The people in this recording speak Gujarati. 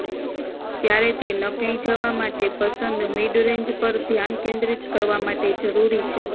ત્યારે તે નકલી જવા માટે પસંદ મિડ રેન્જ પર ધ્યાન કેન્દ્રિત કરવા માટે જરૂરી છે